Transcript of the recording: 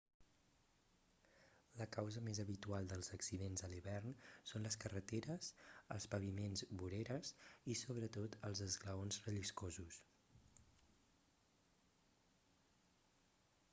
la causa més habitual dels accidents a l'hivern són les carreteres els paviments voreres i sobretot els esglaons relliscosos